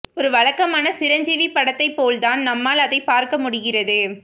ஒரு வழக்கமான சிரஞ்சீவி படத்தைப் போல் தான் நம்மால் அதைப் பார்க்க முடிகிறது